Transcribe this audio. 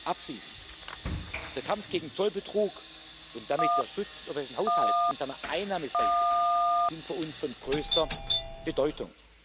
Abschließend Der Kampf gegen Zollbetrug und damit der Schutz des europäischen Haushalts und seiner Einnahmenseite sind für uns von größter Bedeutung.